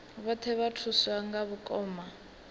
vhoṱhe vha thuswa nga vhakoma